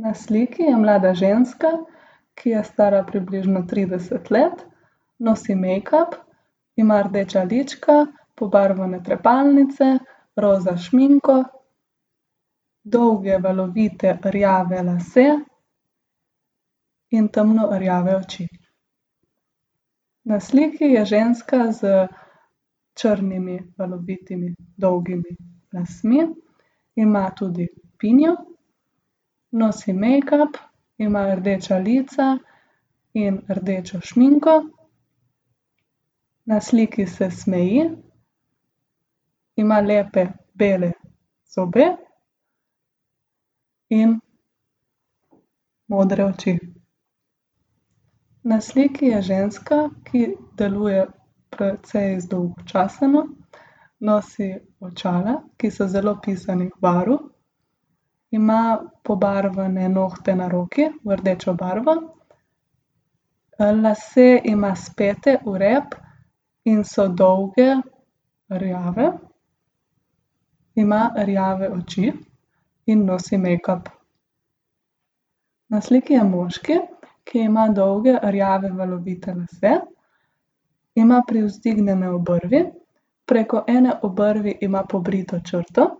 Na sliki je mlada ženska, ki je stara približno trideset let. Nosi mejkap, ima rdeča lička, pobarvane trepalnice, roza šminko, dolge, valovite rjave lase in temno rjave oči. Na sliki je ženska z črnimi valovitimi dolgimi lasmi, ima tudi pinjo. Nosi mejkap, ima rdeča lica in rdečo šminko. Na sliki se smeji, ima lepe bele zobe in modre oči. Na sliki je ženska, ki deluje precej zdolgočaseno. Nosi očala, ki so zelo pisanih barv. Ima pobarvane nohte na roki v rdečo barvo. lase ima spete v rep in so dolgi, rjavi. Ima rjave oči in nosi mejkap. Na sliki je moški, ki ima dolge, rjave, valovite lase. Ima privzdignjene obrvi, preko ene obrvi ima pobrito črto.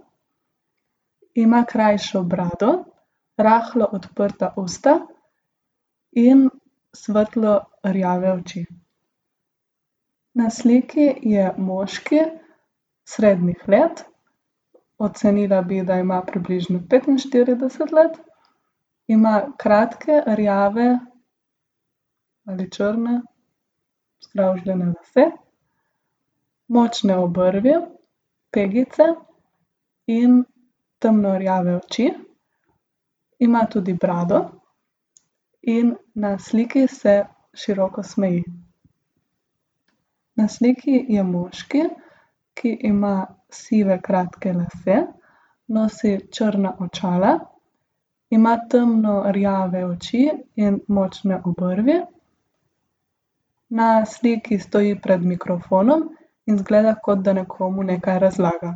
Ima krajšo brado, rahlo odprta usta in svetlo rjave oči. Na sliki je moški srednjih let. Ocenila bi, da ima približno petinštirideset let. Ima kratke rjave ali črne skravžane lase, močne obrvi, pegice in temno rjave oči. Ima tudi brado in na sliki se široko smeji. Na sliki je moški, ki ima sive, kratke lase, nosi črna očala, ima temno rjave oči in močne obrvi. Na sliki stoji pred mikrofonom in izgleda, kot da nekomu nekaj razlaga.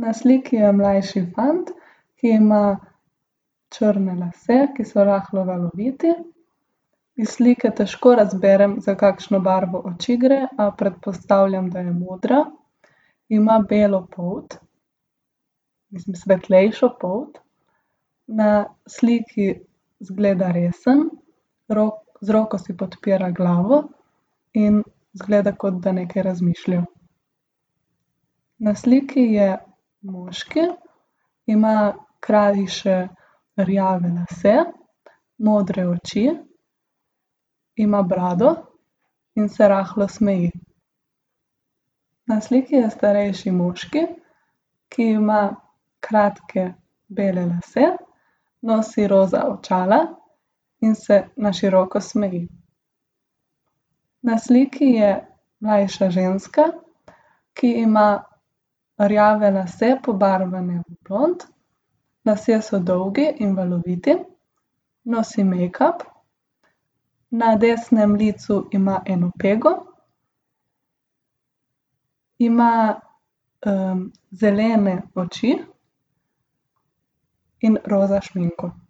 Na sliki je mlajši fant, ki ima črne lase, ki so rahlo valoviti. Iz slike težko razberem, za kakšno barvo oči gre, a predpostavljam, da je modra. Ima belo polt, mislim, svetlejšo polt, na sliki izgleda resen, z roko si podpira glavo in izgleda, kot da nekaj razmišlja. Na sliki je moški. Ima krajše rjave lase, modre oči. Ima brado in se rahlo smeji. Na sliki je starejši moški, ki ima kratke bele lase, nosi roza očala in se na široko smeji. Na sliki je mlajša ženska, ki ima rjave lase, pobarvane na blond. Lasje so dolgi in valoviti. Nosi mejkap. Na desnem licu ima eno pego. Ima, zelene oči in roza šminko.